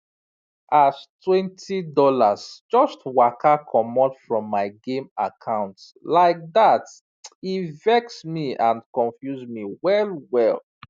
as twenty dollars just waka comot from my game account like that e vex me and confuse me wellwell